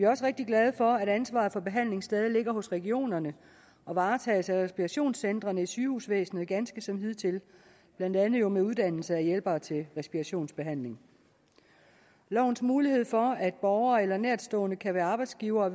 også rigtig glade for at ansvaret for behandling stadig ligger hos regionerne og varetages af respirationscentrene i sygehusvæsenet ganske som hidtil blandt andet med uddannelse af hjælpere til respirationsbehandling lovens mulighed for at borgere eller nærtstående kan være arbejdsgivere og